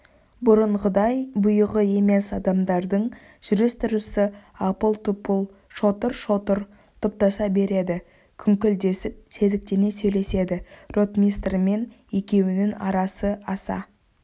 бұрынғыдай бұйығы емес адамдардың жүріс-тұрысы апыл-тұпыл шотыр-шотыр топтаса береді күңкілдесіп сезіктене сөйлеседі ротмистрмен екеуінің арасы аса